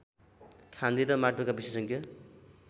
खानी र माटोका विशेषज्ञ